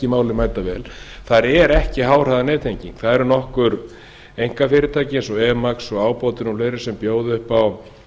málið mætavel þar er ekki háhraðanettenging það eru nokkur einkafyrirtæki eins og emax og ábótinn og fleira sem bjóða upp á